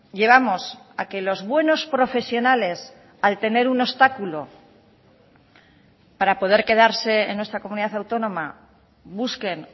llevamos a que los buenos profesionales al tener un obstáculo para poder quedarse en nuestra comunidad autónoma busquen